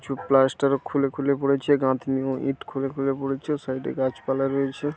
ছু প্লাস্টার ও খুলে খুলে পড়েছে। গাঁথনি ও ইট খুলে খুলে পড়েছে। সাইড -এ গাছপালা রয়েছে।